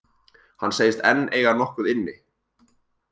Hann segist enn eiga nokkuð inni.